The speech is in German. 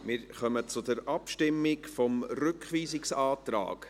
Wir kommen zur Abstimmung über den Rückweisungsantrag.